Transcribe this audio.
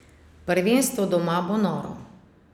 Prvenstvo doma bo noro!